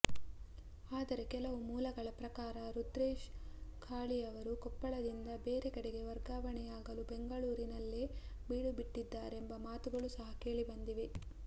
ಆದರೆ ಕೆಲವು ಮೂಲಗಳ ಪ್ರಕಾರ ರುದ್ರೇಶ್ ಘಾಳಿಯವರು ಕೊಪ್ಪಳದಿಂದ ಬೇರೆ ಕಡೆಗೆ ವರ್ಗಾವಣೆಯಾಗಲು ಬೆಂಗಳೂರಿನಲ್ಲೇ ಬೀಡುಬಿಟ್ಟಿದಾರೆಂಬ ಮಾತುಗಳು ಸಹ ಕೇಳಿಬಂದಿವೆ